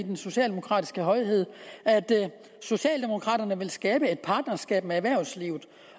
den socialdemokratiske højhed at socialdemokraterne vil skabe et partnerskab med erhvervslivet